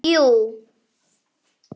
Jú